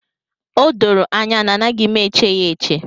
O doro anya na anaghị m eche ya eche.